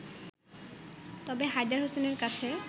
তবে হায়দার হোসেনের কাছে